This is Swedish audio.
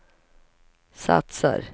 satsar